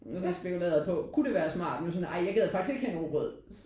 Og så spekulerede jeg på kunne det være smart nu sådan: Ej jeg gider faktisk ikke at have en rugbrød